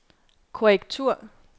korrektur